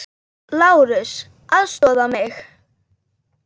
LÁRUS: Aðstoða mig!